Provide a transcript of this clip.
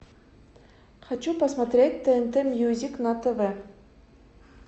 хочу посмотреть тнт мьюзик на тв